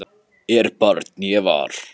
er barn ég var